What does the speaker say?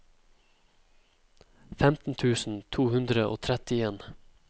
femten tusen to hundre og trettien